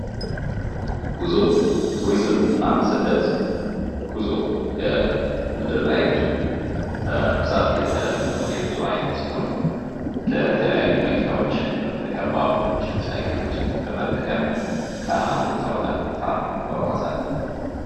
ጉዞ ቱሪዝም እና ስደት ጉዞ የምድር ላይ ጉዞ በብዛት የተለመደው የጉዞ አይነት ሲሆን ለተለያዩ መኪናዎችን በመጠቀም ባቡሮችን ሳይክሎችን በመጠቀም ከአንድ ቦታ ወደ ሌላ ቦታ እንጕጕዛለን::